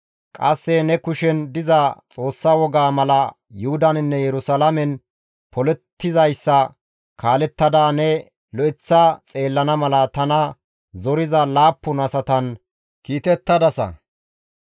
Qasse ne kushen diza Xoossa wogaa mala Yuhudaninne Yerusalaamen polettizayssa kaalettada ne lo7eththa xeellana mala tana zoriza laappun asatan kiitettadasa.